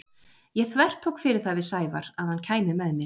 Ég þvertók fyrir það við Sævar að hann kæmi með mér.